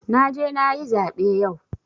Na je na yi zaɓe yau.